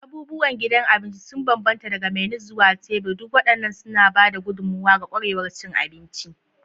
Abubuwan gidan abinci sun bambanta daga menus zuwa tebur, duk waɗannan suna ba da gudummawa ga ƙwarewar cin abinci.